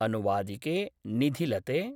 अनुवादिके निधिलते